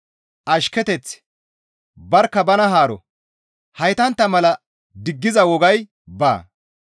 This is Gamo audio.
ashketeth, barkka bana haaro; haytantta mala diggiza wogay baa.